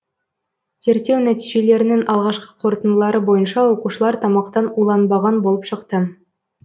зерттеу нәтижелерінің алғашқы қорытындылары бойынша оқушылар тамақтан уланбаған болып шықты